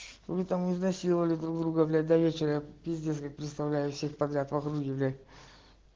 вы там изнасиловали друг друга блять до вечера пиздец как представляю всех подряд в округе блять